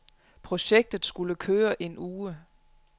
Projektet skulle køre en uge.